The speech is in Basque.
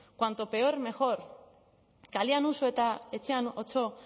cuanto peor mejor kalean uso eta etxean otso